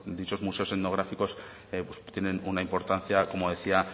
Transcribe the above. dichos museos etnográficos pues tienen una importancia como decía